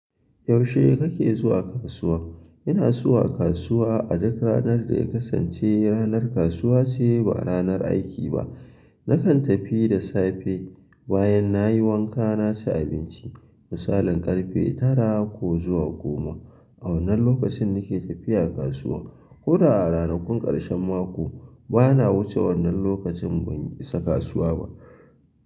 Yaushe kake zuwa kasuwa? Ina zuwa kasuwa a duk ranar da ya kasance ranar kasuwa ce ba ranar aiki ba. Nakan tafi da safe bayan nayi wanka na ci abinci, misalin ƙarfe tara ko zuwa goma. A wannan lokacin nake tafiya kasuwa. Koda a ranakun ƙarshen mako bana wuce wannan lokacin ban isa kasuwa ba.